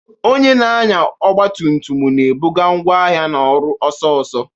Onye na-anya ọgba tum tum na-ebuga ngwa ahịa na ọrụ ọsọ ọsọ.